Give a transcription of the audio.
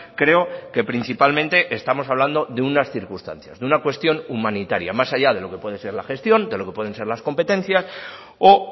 creo que principalmente estamos hablando de unas circunstancias de una cuestión humanitaria más allá de lo que puede ser la gestión de lo que pueden ser las competencias o